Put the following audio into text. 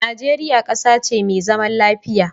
Nigeria ƙasa ce me zaman lafiya